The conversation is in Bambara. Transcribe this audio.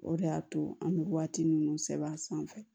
O de y'a to an bɛ waati minnu sɛbɛn a sanfɛ